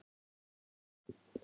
Þar málum við líka egg.